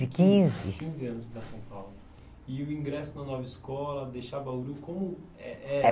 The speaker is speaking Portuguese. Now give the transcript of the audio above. quinze. Quinze anos para São Paulo. E o ingresso na nova escola, deixar Bauru, como é é?